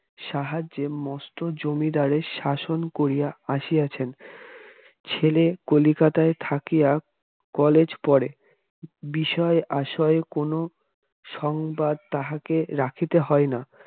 সাহায্যে মস্ত জমিদারি শাসন করিয়া আসিয়াছেন ছেলে কলিকাতায় থাকিয়া কলেজে পড়ে বিষয়-আশয়ের কোন সংবাদ তাহাকে রাখিতে হয় না।